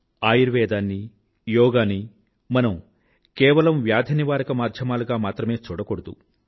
ఆయుర్వేదాన్నీ యోగానీ మనం కేవలం వ్యాధినివారక మాధ్యమాలుగా మాత్రమే చూడకూడదు